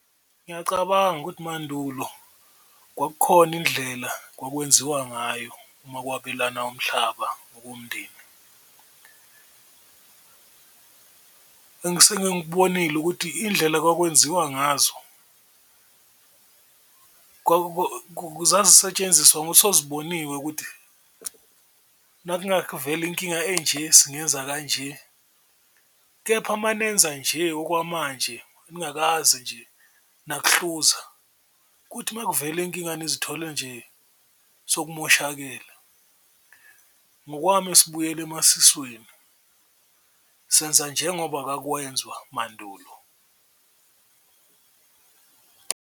Ngiyacabanga ukuthi mandulo kwakukhona indlela kwakwenziwa ngayo uma ukwabelana umhlaba womndeni ngikubonile ukuthi indlela kwakwenziwa ngazo zazisetshenziswa soziboniwe ukuthi inkinga enje singenza kanje. Kepha manenza nje okwamanje ningakaze nje nakuhluza kuthi uma kuvela inkinga nizithole nje sokumoshakele, ngokwami sibuyela emasisweni senza njengoba kwakuwenzwa mandulo.